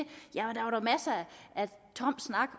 tom snak